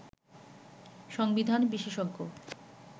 সংবিধান বিশেষজ্ঞ